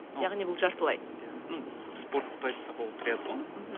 яғни бұл жартылай иә ну спортты айтсақ ол триатлон мхм